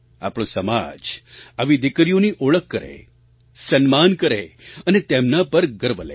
આપણો સમાજ આવી દીકરીઓની ઓળખ કરે સન્માન કરે અને તેમના પર ગર્વ લે